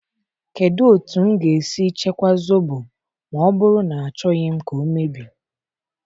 Kedu otu m ga-esi chekwaa Zobo ma ọ bụrụ na achọghị m ka ọ emebi?